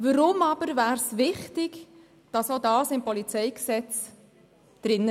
Weshalb wäre es jedoch wichtig, dass dies auch im PolG stünde?